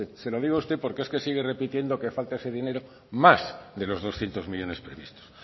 se lo digo a usted porque es que sigue repitiendo que falta ese dinero más de los doscientos millónes previstos